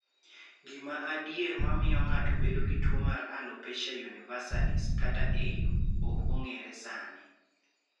Gima adier ma miyo ng�ato bedo gi tuo mar alopecia universalis (AU) ok ong�ere sani.